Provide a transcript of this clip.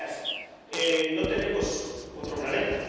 Señorías, no tenemos otro planeta.